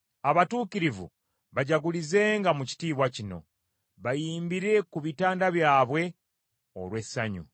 Abatuukirivu bajagulizenga mu kitiibwa kino; bayimbire ku bitanda byabwe olw’essanyu.